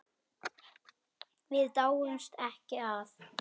Við dáumst ekki að